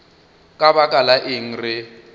ka baka la eng re